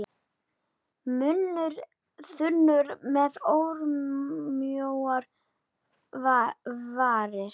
Munnur þunnur með örmjóar varir.